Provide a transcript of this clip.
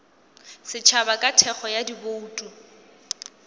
setšhaba ka thekgo ya dibouto